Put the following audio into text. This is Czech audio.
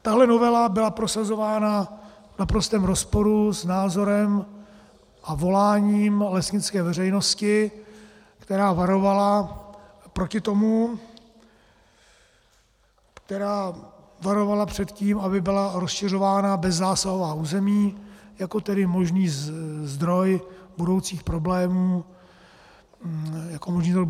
Tahle novela byla prosazována v naprostém rozporu s názorem a voláním lesnické veřejnosti, která varovala proti tomu, která varovala před tím, aby byla rozšiřována bezzásahová území jako tedy možný zdroj budoucích problémů pro šíření kůrovce.